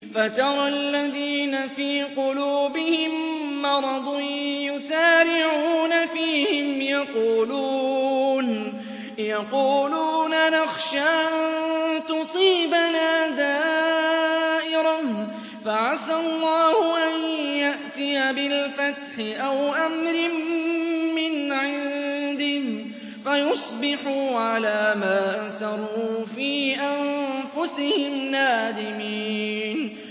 فَتَرَى الَّذِينَ فِي قُلُوبِهِم مَّرَضٌ يُسَارِعُونَ فِيهِمْ يَقُولُونَ نَخْشَىٰ أَن تُصِيبَنَا دَائِرَةٌ ۚ فَعَسَى اللَّهُ أَن يَأْتِيَ بِالْفَتْحِ أَوْ أَمْرٍ مِّنْ عِندِهِ فَيُصْبِحُوا عَلَىٰ مَا أَسَرُّوا فِي أَنفُسِهِمْ نَادِمِينَ